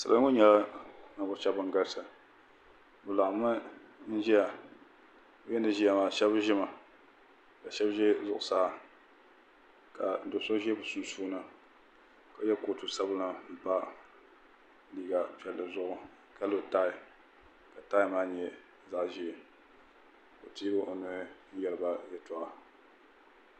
salo ŋɔ nyɛla nivuɣibɔgu shɛbi ban galisi be laɣim mi n ʒɛya be mi yi ʒɛya maa shɛbi ʒɛmi ka shɛb za zuɣ saa ka do so ʒɛ be sunisuuni ka yɛ kutu sabinli n pa liga pɛli zuɣ ka lo tayi ka tayi maa nyɛ zaɣ ʒiɛ ka o tɛi o noli n yɛba yɛtoɣ'